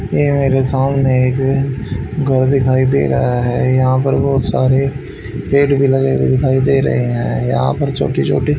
ये मेरे सामने एक घर दिखाई दे रहा है यहां पर बहोत सारे पेड़ भी लगे हुए दिखाई दे रहे हैं यहां पर छोटी छोटी--